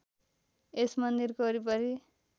यस मन्दिरको वरिपरि